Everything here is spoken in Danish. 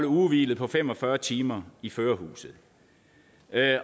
ugentlige hvil på fem og fyrre timer i førerhuset